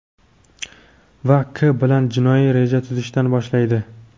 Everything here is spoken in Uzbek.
va K bilan jinoiy reja tuzishdan boshlaydi.